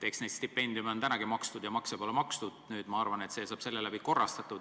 Eks neid stipendiume ole senigi makstud ja makse pole makstud, nüüd, ma arvan, saab see korrastatud.